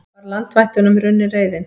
Var landvættunum runnin reiðin?